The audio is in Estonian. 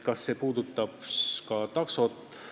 Kas see eelnõu puudutab ka taksosid?